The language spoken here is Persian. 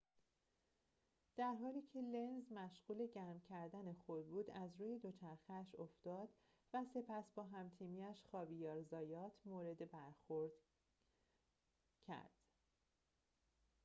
در حالی که لنز مشغول گرم کردن خود بود از روی دوچرخه‌اش افتاد و سپس با هم‌تیمی‌اش خاویر زایات مورد برخورد کرد